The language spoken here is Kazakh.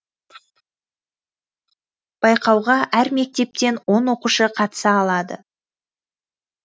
байқауға әр мектептен он оқушы қатыса алады